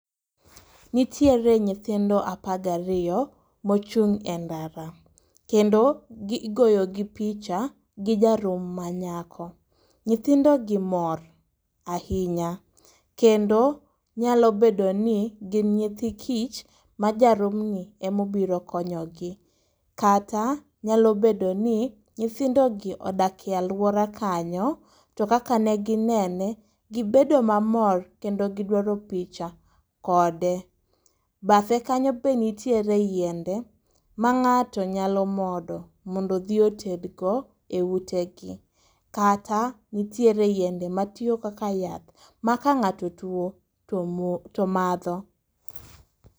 Nitiere nyithindo apagariyo mochung' e ndara, kendo igoyo gi picha gi ja rum ma nyako. Nyithindo gi mor ahinya, kendo nyalo bedo ni gin nyithi kich ma ja rum ni emobiro konyogi. Kata nyalo bedo ni nyithindo gi odakie alwora kanyo, to kaka ne ginene gibedo mamor kendo gidwaro picha kode. Bathe kanyo be nitiere yiende ma ng'ato nyalo modo mondo dhi otedgo e ute gi. Kata nitiere yiende ma tiyo kaka yath, ma ka ng'ato tuo to madho.